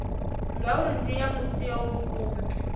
ngauri dzi ea mutheo vhukuma